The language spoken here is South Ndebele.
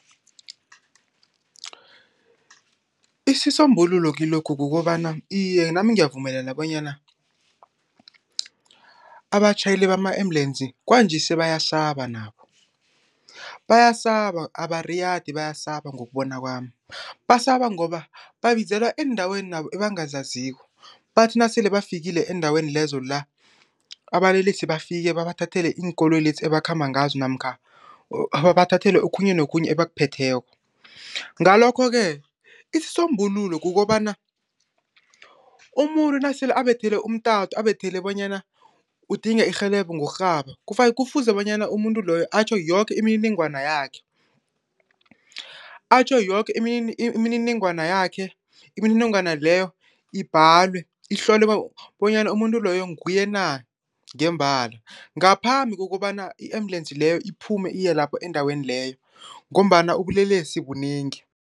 Isisombululo kilokhu kukobana, iye nami ngiyavumelana bonyana abatjhayeli bama-ambulensi kwanje sebayasaba nabo. Bayasaba, abariyadi bayasaba ngokubona kwami. Basaba ngoba babizelwa eendaweni nabo ebangazaziko, bathi nasele bafike eendaweni lezo la, ababelesi bafike babathathele iinkoloyi lezi abakhamba ngazo namkha babathathele okhunye nokhunye ebakuphetheko. Ngalokho-ke isisombululo kukobana umuntu nasele abethele umtato abethele bonyana udinga irhelebho ngokurhaba, kufuze bonyana umuntu loyo atjho yoke imininingwana yakhe. Atjho yoke imininingwana yakhe, imininingwana leyo ibhalwe, ihlolwe bonyana umuntu loyo nguye na ngembala, ngaphambi kokobana i-ambulensi leyo iphume iye lapho endaweni leyo ngombana ubulelesi bunengi.